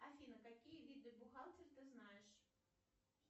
афина какие виды бухгалтер ты знаешь